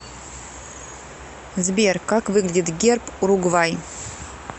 сбер как выглядит герб уругвай